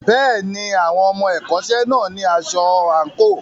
Bẹ́ẹ̀ni, àwọn ọmọ ẹ̀kọ́ṣẹ́ náà ní aṣọ àǹkóò.